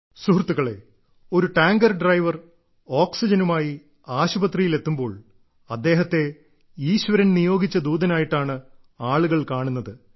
സുഹൃത്തുക്കളേ ഒരു tanker driver ഓക്സിജനുമായി ആശുപത്രിയിൽ എത്തുമ്പോൾ അദ്ദേഹത്തെ ഈശ്വരൻ നിയോഗിച്ച ദൂതനായിട്ടാണ് ആളുകൾ കാണുന്നത്